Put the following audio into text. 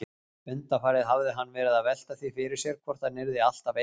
Undanfarið hafði hann verið að velta því fyrir sér hvort hann yrði alltaf einn.